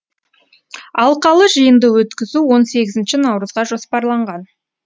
алқалы жиынды өткізу он сегізінші наурызға жоспарланған